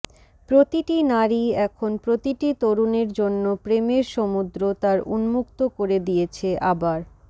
প্রতিটি নারী এখন প্রতিটি তরুণের জন্য প্রেমের সমুদ্র তার উন্মুক্ত করে দিয়েছে আবার